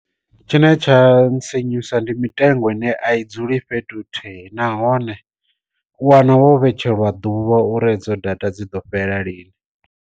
Tshine tsha nsinyusa ndi mitengo ine a i dzuli fhethu hi thihi, nahone u wana vho vhetshelwa ḓuvha uri dzo data dzi do fhela lini.